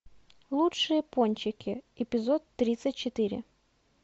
лучшие пончики эпизод тридцать четыре